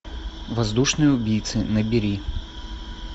воздушные убийцы набери